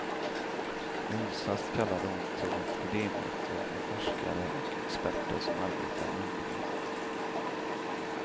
I onsdags kallade hon till ett idémöte med forskare och experter som arbetar med ungdomar.